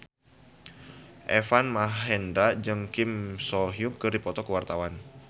Deva Mahendra jeung Kim So Hyun keur dipoto ku wartawan